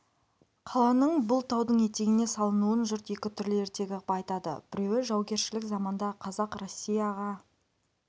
қаланың бұл таудың етегіне салынуын жұрт екі түрлі ертегі ғып айтады біреуі жаугершілік заманда қазақ россияға